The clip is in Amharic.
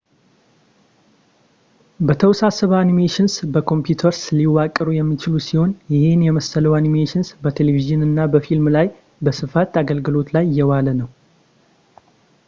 የተወሳሰበ animations በኮንፒውተርስ ሊዋቀሩ የሚችሉ ሲሆን ይህን የመሰለው animations በቴሌቭዥንና በፊልም ላይ በስፋት አገልግሎት ላይ እየዋለ ነው